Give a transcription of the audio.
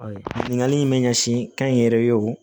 Ɲininkali in bɛ ɲɛsin kɛnyɛrɛye o